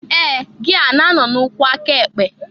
Ee! Gia na-anọ n'ukwu aka ekpe?